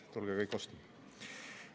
Tulge kõik ostma!